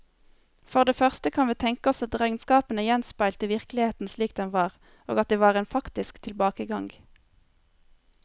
For det første kan vi tenke oss at regnskapene gjenspeilte virkeligheten slik den var, og at det var en faktisk tilbakegang.